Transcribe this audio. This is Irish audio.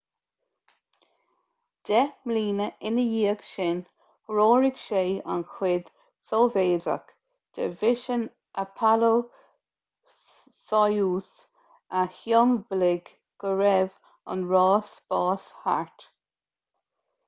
deich mbliana ina dhiaidh sin threoraigh sé an chuid sóivéadach de mhisean apollo-soyuz a shiombalaigh go raibh an ráis spáis thart